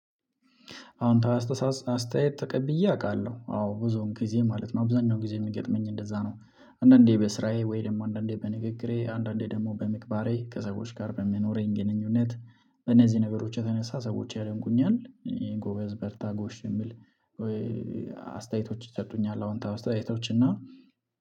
አወንታዊ አስተያየት ተቀብዬ አውቃለሁ አዎ ብዙውን ጊዜ ማለት ነው አብዛኛውን ጊዜ የሚገጥመኝ እንደዛ ነው። አንዳንዴ በስራዬ ወይ ደግሞ አንዳንዴ በንግግሬ አንዳንዴ ደግሞ በምግባሬ ከሰዎች ጋር በሚኖረኝ ግንኙነት እነዚህ ነገሮች የተነሳ ሰዎች ያደንቁኛል። ጎበዝ በርታ ጎሽ የሚል ወይ። አስተያየቶች ይሰጡኛል አዎንታው አስተያየቶች እና።